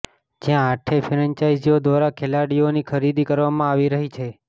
જ્યાં આઠેય ફેન્ચાઈઝીઓ દ્વારા ખેલાડીઓની ખરીદી કરવામાં આવી રહી છે